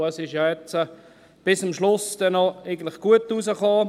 Es ist ja jetzt bis am Schluss noch gut herausgekommen.